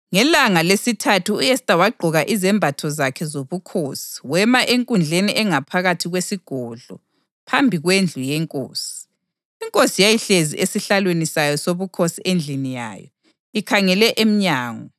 Ngelanga lesithathu u-Esta wagqoka izembatho zakhe zobukhosi wema enkundleni engaphakathi kwesigodlo phambi kwendlu yenkosi. Inkosi yayihlezi esihlalweni sayo sobukhosi endlini yayo, ikhangele emnyango.